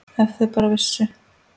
Ef þau bara vissu.